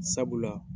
Sabula